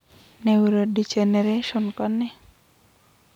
Neurodegeneration kone?